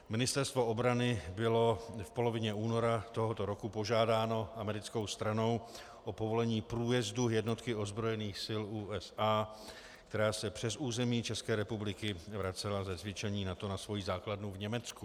Ministerstvo obrany bylo v polovině února tohoto roku požádáno americkou stranou o povolení průjezdu jednotky ozbrojených sil USA, která se přes území České republiky vracela ze cvičení NATO na svoji základnu v Německu.